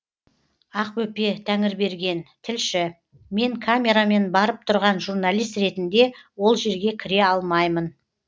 ақбөпе тәңірберген тілші мен камерамен барып тұрған журналист ретінде ол жерге кіре алмаймын